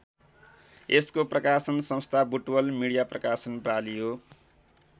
यसको प्रकाशन संस्था बुटवल मिडिया प्रकाशन प्रालि हो।